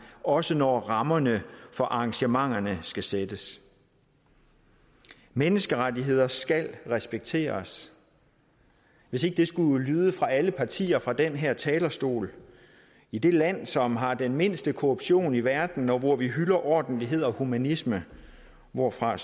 også når rammerne for arrangementerne skal sættes menneskerettigheder skal respekteres hvis ikke det skulle lyde fra alle partier fra den her talerstol i det land som har den mindste korruption i verden og hvor vi hylder ordentlighed og humanisme hvorfra